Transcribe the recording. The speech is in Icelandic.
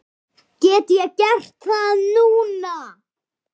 Get ég gert það núna?